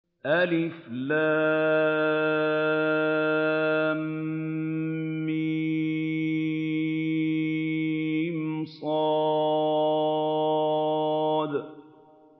المص